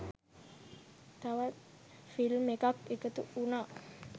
තවත් ෆිල්ම් එකක් එකතු වුනා